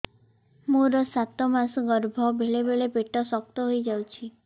ମୋର ସାତ ମାସ ଗର୍ଭ ବେଳେ ବେଳେ ପେଟ ଶକ୍ତ ହେଇଯାଉଛି